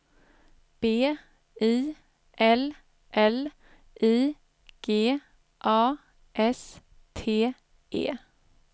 B I L L I G A S T E